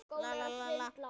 En hækan er stutt.